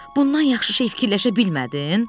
Bundan yaxşı şey fikirləşə bilmədin?